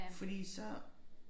Fordi så